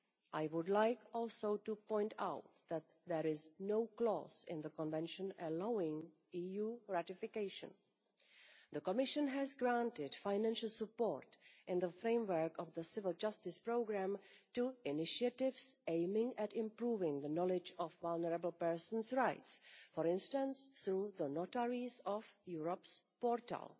I would like also to point out that there is no clause in the Convention allowing EU ratification. The Commission has granted financial support in the framework of the Civil Justice Programme to initiatives aiming at improving the knowledge of vulnerable persons' rights, for instance through the Notaries of Europe's portal.